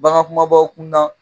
Bagan kumabaw kun na